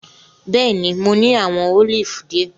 Bẹẹni, Mo ni awọn olifi diẹ.